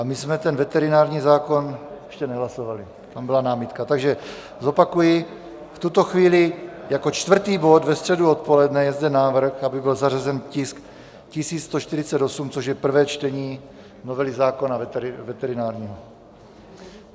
A my jsme ten veterinární zákon ještě nehlasovali, tam byla námitka, takže zopakuji: v tuto chvíli jako čtvrtý bod ve středu odpoledne je zde návrh, aby byl zařazen tisk 1148, což je prvé čtení novely zákona veterinárního.